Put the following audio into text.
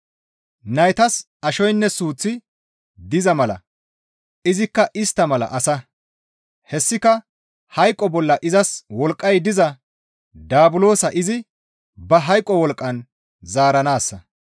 Naytas ashoynne suuththi diza mala izikka istta mala asa; hessika hayqo bolla izas wolqqay diza daabulosa izi ba hayqo wolqqan zaaranaassa.